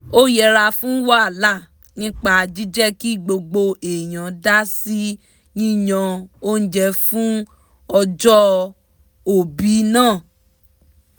ó yẹra fún wàhálà nípa jíjẹ́ ki gbogbo èèyàn dásí yíyan óúnjẹ fún ọjọ́òbí náà